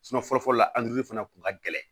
fɔlɔfɔlɔ la fana kun ka gɛlɛn